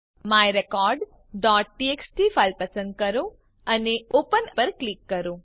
myrecordટીએક્સટી file પસંદ કરો અને ઓપન પર ક્લિક કરો